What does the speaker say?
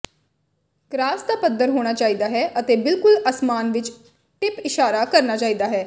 cross ਦਾ ਪੱਧਰ ਹੋਣਾ ਚਾਹੀਦਾ ਹੈ ਅਤੇ ਬਿਲਕੁਲ ਅਸਮਾਨ ਵਿੱਚ ਟਿਪ ਇਸ਼ਾਰਾ ਕਰਨਾ ਚਾਹੀਦਾ ਹੈ